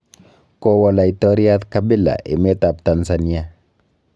Kowo laitoryat Kabila emet ab Tanzania